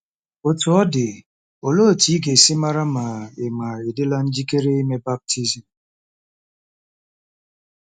Otú ọ dị, olee otú ị ga-esi mara ma ị̀ ma ị̀ dịla njikere ime baptizim?